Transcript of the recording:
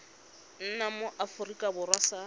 nna mo aforika borwa sa